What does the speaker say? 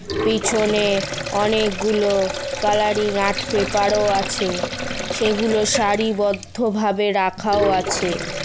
পিছনে অনেকগুলো colouring art paper ও আছে সেগুলো সারিবদ্ধভাবে রাখাও আছে।